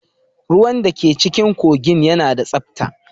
Ruwan da ke cikin kogin yana da tsabta.